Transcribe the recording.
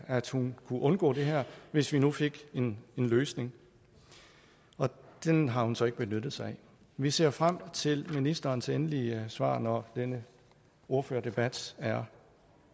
at hun kunne undgå det her hvis vi nu fik en løsning den har hun så ikke benyttet sig af vi ser frem til ministerens endelige svar når denne ordførerdebat er